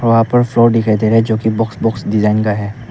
वहां पर फ्लोर दिखाई दे रहा है जोकि बॉक्स बॉक्स डिजाइन का है।